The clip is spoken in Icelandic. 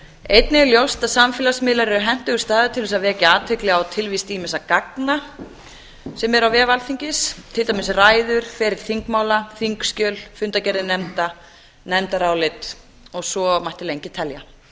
einnig er ljóst að samfélagsmiðlar eru hentugur staður til þess að vekja athygli á tilvist ýmissa gagna sem eru á vef alþingis til dæmis ræður ferill þingmála þingskjöl fundargerðir nefnda nefndarálit og svo mætti lengi telja